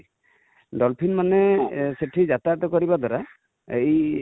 dolphin ମାନେ ସେଠି ଜାତୟତ କରି ବା ଦ୍ୱାରା ଏଇ